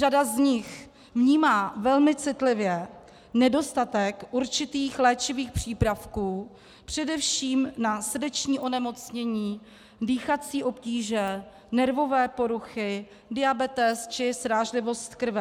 Řada z nich vnímá velmi citlivě nedostatek určitých léčivých přípravků především na srdeční onemocnění, dýchací obtíže, nervové poruchy, diabetes či srážlivost krve.